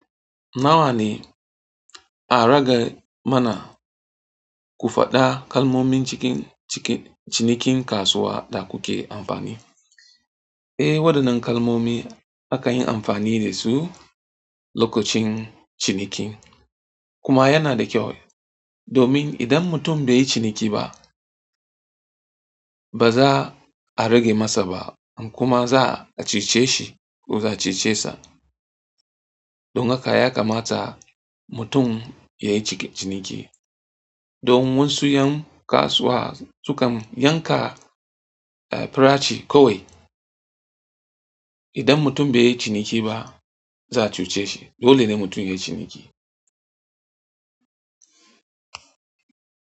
Nawa ne a rage mana ku faɗa kalmomin cikin cinikin kasuwa da kuke amfani? Eh, waɗannan kalmomi akan yi amfani da su lokacin ciniki. Kuma yana da kyau domin idan mutum bai yi ciniki ba, ba za a rage masa ba kuma za a cece shi ko za a cece sa. Don haka ya kamata mutum ya yi ciniki. Domin wasu 'yan kasuwa sukan yanka farashi kawai. Idan mutum bai yi ciniki ba za a cuce shi. Dole ne mutum ya yi ciniki.